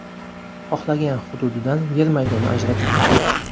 Xohlagan hududidan yer maydoni ajratib beradi.